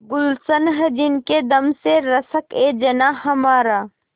गुल्शन है जिनके दम से रश्कएजनाँ हमारा